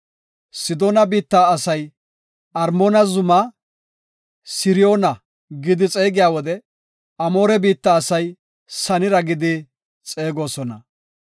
(Sidoona biitta asay Armoona zumaa, Siriyoona gidi xeegiya wode, Amoore biitta asay Sanira gidi xeegosona.)